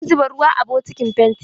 Zan zuba ruwa a bokitin fentin.